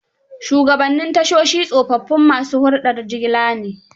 Shugabnnin tashoshi tsofaffin ma su huldar jigila ne.